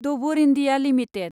Dabur India limited